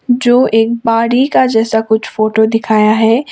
जो एक बाड़ी का जैसा कुछ फोटो दिखाया है।